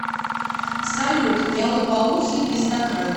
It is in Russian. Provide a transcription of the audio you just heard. салют я лопоухий пиздакрыл